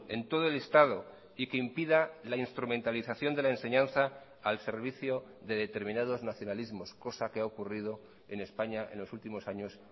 en todo el estado y que impida la instrumentalización de la enseñanza al servicio de determinados nacionalismos cosa que ha ocurrido en españa en los últimos años